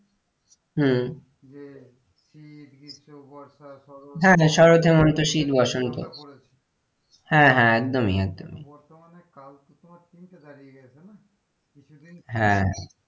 হম যে শীত, গ্রীষ্ম, বর্ষা, শরৎ, হ্যাঁ হ্যাঁ শরৎ, হেমন্ত, শীত, বসন্ত এগুলো আমরা পড়েছি হ্যাঁ হ্যাঁ একদমই একদমই বর্তমানে কালগুলো তোমার তিনটে দাঁড়িয়ে গেছে না কিছুদিন হ্যাঁ।